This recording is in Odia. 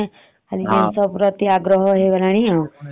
ହଁ ସବୁ ଛୁଆ ଙ୍କର ଏ ଜିନିଷ ପ୍ରତି ଆଜିକା ଆଗ୍ରହ ଅଛି ଆଉ